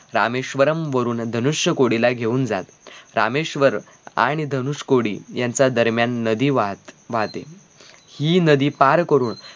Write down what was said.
रामेश्वरम वरुन धनुष्य कुडीला घेऊन जात रामेश्वर आह आणि धनुष्य कुडी यांचा दरम्यान नदी वाहात वाहते हि नदी पार करून